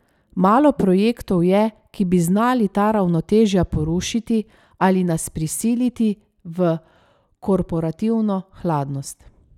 Malo projektov je, ki bi znali ta ravnotežja porušiti ali nas prisiliti v korporativno hladnost.